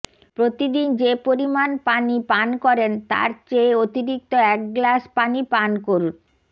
প্রতিদিন যে পরিমাণ পানি পান করেন তার চেয়ে অতিরিক্ত এক গ্লাস পানি পান করুন